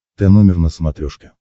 тномер на смотрешке